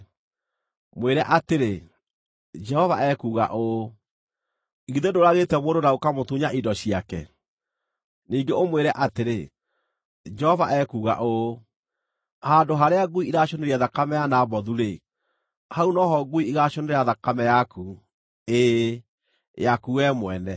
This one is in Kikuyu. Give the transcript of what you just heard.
Mwĩre atĩrĩ, ‘Jehova ekuuga ũũ: Githĩ ndũũragĩte mũndũ na ũkaamũtunya indo ciake?’ Ningĩ ũmwĩre atĩrĩ, ‘Jehova ekuuga ũũ: Handũ harĩa ngui iracũnĩire thakame ya Nabothu-rĩ, hau no ho ngui igaacũnĩra thakame yaku, ĩĩ, yaku wee mwene!’ ”